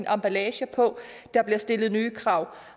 emballage på og der bliver stillet nye krav